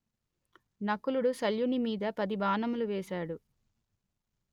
నకులుడు శల్యుని మీద పది బాణములు వేసాడు